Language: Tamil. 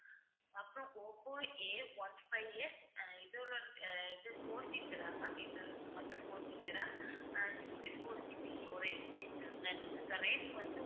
அப்புறம் ஓப்போ Aone fiveS அஹ் இது fourGBramma'am இது மட்டும் 4GB RAM அஹ் sixty-fourGBstorage இதுக்கு rate வந்து